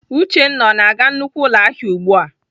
Uchenna ọ na-aga nnukwu ụlọahịa ugbu a!